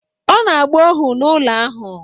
Ọ na-agba ohu n’ụlọ ahụ